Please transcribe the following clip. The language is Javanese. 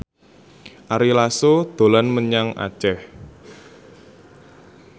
Ari Lasso dolan menyang Aceh